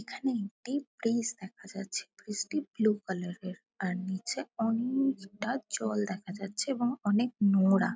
এখানে একটি ব্রীজ দেখা যাচ্ছে। ব্রীজ -টি ব্লু কালার -এর। আর নীচে অনেএএএএএকটা জল দেখা যাচ্ছে এবং অনেক নোংরা।